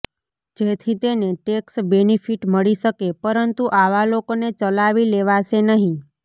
જેથી તેને tax benefit મળી શકે પરંતુ આવા લોકોને ચલાવી લેવાશે નહીં